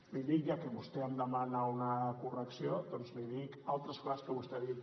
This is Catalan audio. li dic ja que vostè em demana una correcció doncs li dic altres coses que vostè ha dit